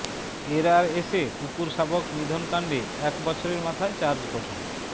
এরআরএসে কুকুর শাবক নিধনকাণ্ডে এক বছরের মাথায় চার্জ গঠন